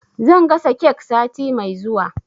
Zan gasa kek sati mai zuwa.